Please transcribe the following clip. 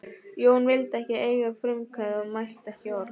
Jón vildi ekki eiga frumkvæði og mælti ekki orð.